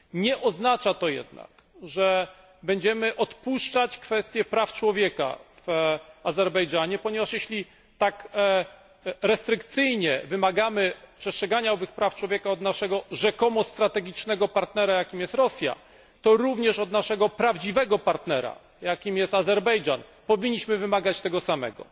Nie oznacza to jednak, że będziemy odpuszczać kwestie praw człowieka w Azerbejdżanie, ponieważ, jeśli tak restrykcyjnie wymagamy przestrzegania owych praw człowieka od naszego rzekomo strategicznego partnera, jakim jest Rosja, to również od naszego prawdziwego partnera, jakim jest Azerbejdżan, powinniśmy wymagać tego samego.